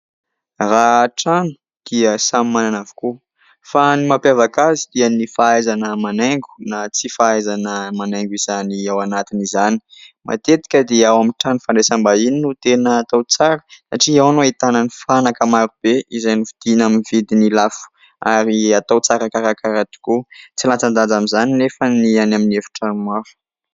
Raha trano dia samy manana avokoa, fa ny mampiavaka azy dia ny fahaizana manaingo na tsy fahaizana manaingo izany ao anatiny izany. Matetika dia ao amin'ny trano fandraisam-bahiny no tena atao tsara satria ao no ahitana ny fanaka maro be izay novidina amin'ny vidiny lafo ary atao tsara karakara tokoa. Tsy latsa-danja amin'izany anefa ny any amin'ny efitrano hafa.